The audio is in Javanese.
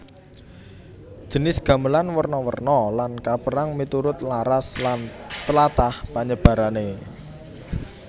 Jinis gamelan werna werna lan kapérang miturut laras lan tlatah panyebarané